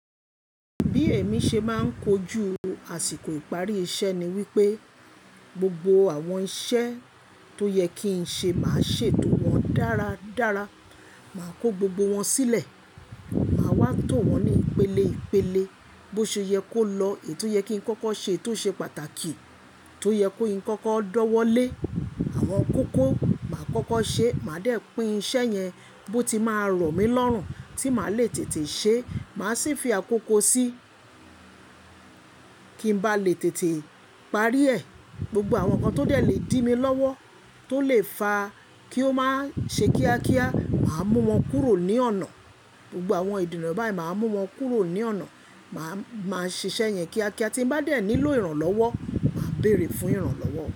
Bí èmi ṣe máa ń kojú àsìkò ìparí iṣẹ́ ni wípé gbogbo àwọn iṣẹ́ tó yẹ kí n ṣe máa ṣe tò wọ́n dára dára. Máa kó gbogbo wọn sílẹ̀, màá wá tò wọn ní ìpele ìpele. Bo ṣe yẹ kó lọ, èyí tó yẹ kí n kọ́kọ́ ṣe tó ṣe pàtàkì, tó yẹ kó n kọ́kọ́ dọ́wọ́ lé, àwọn kókó máa kọ́kọ́ ṣe. Màá dẹ̀ pín iṣẹ́ yẹn bó ti máa rọ̀ mí lọ́rùn tí màá lè tètè ṣe. Màá sì fi àkókò sí kí n bá lè tètè parí ẹ̀. Gbogbo àwọn nǹkan tó dẹ̀ lè dí mi lọ́wọ́ tó lè fa kí ó máa ṣe kíákíá, màá mú wọn kúrò ní ọ̀nà. Gbogbo àwọn ìdènà báyìí, màá mú wọn kúrò ní ọ̀nà. Màá, màá ṣiṣẹ́ yẹn kíákíá tí n bá dẹ̀ nílò ìrànlọ́wọ́, màá béèrè fún ìrànlọ́wọ́.